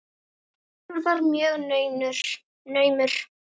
Sá sigur var mjög naumur.